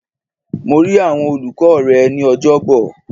Mo rí àwọn olùkọ́ rẹ ní Ọjọ́bọ̀.